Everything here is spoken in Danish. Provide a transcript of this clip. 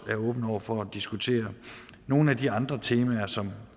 er åben over for at diskutere nogle af de andre temaer som